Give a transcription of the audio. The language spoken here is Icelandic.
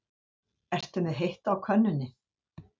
Ertu með heitt á könnunni?